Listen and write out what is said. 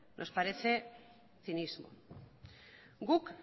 nos parece cinismo guk